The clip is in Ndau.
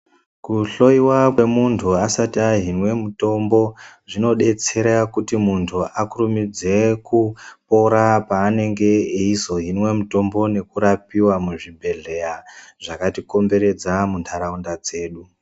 Kuhloyiwa kwemuntu asati ahiniwe mutombo zvinodetsera kuti muntu akurumidze kupora peanonge eizohinwe mitombo nekurapiwa muzvibhedhlera zvakatikomberedza muntaraunda dzedu.